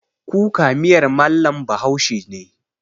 Kuka miyar mallam bahaushe ne